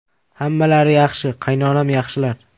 Hammalari yaxshi, qaynonam yaxshilar.